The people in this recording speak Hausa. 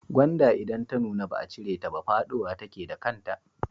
Gwanda idan ta nuna ba a cire ta ba fadowa take da kanta.